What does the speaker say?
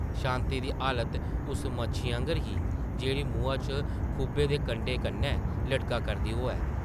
शांति दी हालत उस मच्छी आंगर ही जेह्ड़ी मुहां च खुब्भे दे कंडे कन्नै लटका करदी होऐ ।